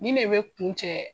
Nin de be kun cɛ